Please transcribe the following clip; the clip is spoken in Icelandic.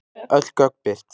Öll gögn birt